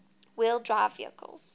wheel drive vehicles